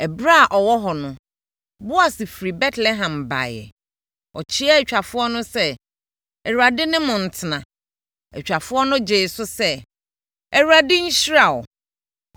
Ɛberɛ a ɔwɔ hɔ no, Boas firi Betlehem baeɛ. Ɔkyeaa atwafoɔ no sɛ, “ Awurade ne mo ntena!” Atwafoɔ no gyee so sɛ, “ Awurade nhyira wo.”